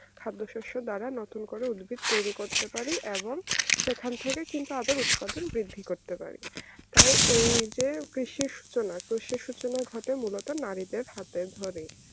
খাদ্য শস্য কানা নতুন করে উদ্ভিদ করতে পারি এবং সেখান থেকে কিন্তু আবার উৎপাদন বৃদ্ধি করতে পারি তাই এই যে কৃষির সূচনা ঘটে ঘটে নারীদের হাতে ধরে